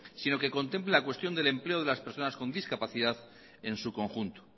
sino que contemple la cuestión del empleo de las personas con discapacidad en su conjunto